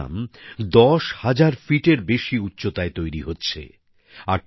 এই স্টেডিয়াম ১০ হাজার ফিট এরও বেশি উচ্চতায় তৈরি হচ্ছে